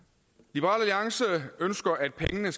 liberal alliance ønsker at pengene